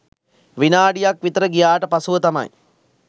විනාඩික් විතර ගියාට පසුව තමයි